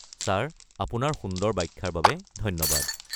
Sir, আপোনাৰ সুন্দৰ ব্যাখ্যাৰ বাবে ধন্যবাদ।